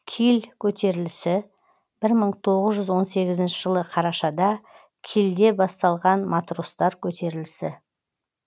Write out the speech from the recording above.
киль көтерілісі бір мың тоғыз жүз он сегізінші жылы қарашада кильде басталған матростар көтерілісі